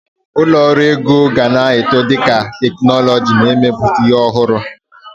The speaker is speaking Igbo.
Ụlọ ọrụ ego gana eto dika teknuzu n'emeputa ihi ọhụrụ.